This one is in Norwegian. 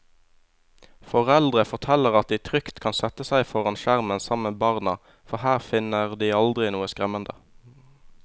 Foreldre forteller at de trygt kan sette seg foran skjermen sammen med barna, for her finner de aldri noe skremmende.